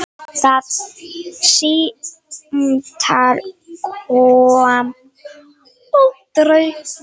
Það símtal kom aldrei.